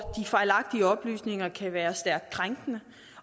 fejlagtige oplysninger kan være stærkt krænkende